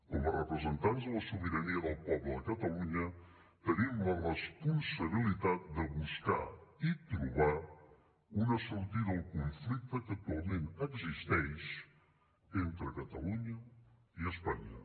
com a representants de la sobirania del poble de catalunya tenim la responsabilitat de buscar i trobar una sortida al conflicte que actualment existeix entre catalunya i espanya